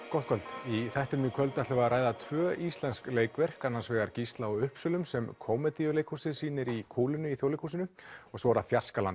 gott kvöld í þættinum í kvöld ætlum við að ræða tvö ný íslensk leikverk annars vegar Gísla á Uppsölum sem Kómedíuleikhúsið sýnir í kúlunni í Þjóðleikhúsinu og svo er það